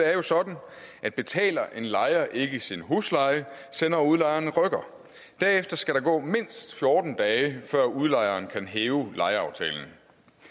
er jo sådan at betaler en lejer ikke sin husleje sender udlejeren en rykker derefter skal der gå mindst fjorten dage før udlejeren kan hæve lejeaftalen